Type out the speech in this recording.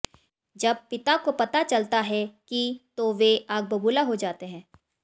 जब पिता को पता चलता है कि तो वे आग बबूला हो जाते हैं